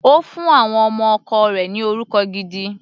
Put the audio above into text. Ó fún àwọn ọmọ ọkọ rẹ̀ ni orúkọ gidi.